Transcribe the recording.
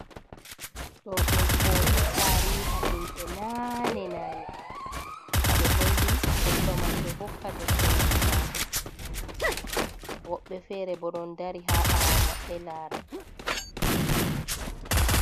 Ɗo ɗum foto tariiha himɓe naane nane. Haɓe holli goɗɗo man ɗo hokka debbo man caahu, woɓɓe feere bo ɗon dari haa ɓaawo maɓɓe laara.